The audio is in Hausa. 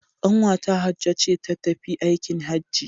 Kwanta Hajjo ce ta tafi aikin Hajji